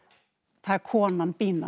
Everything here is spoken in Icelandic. það er konan